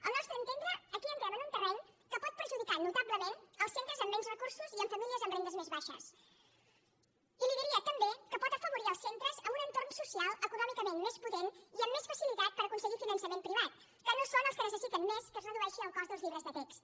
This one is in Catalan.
al nostre entendre aquí entrem en un terreny que pot perjudicar notablement els centres amb menys recursos i amb famílies amb rendes més baixes i li diria també que pot afavorir els centres amb un entorn social econòmicament més potent i amb més facilitat per aconseguir finançament privat que no són els que necessiten més que es redueixi el cost dels llibres de text